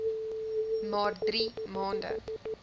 maar drie maande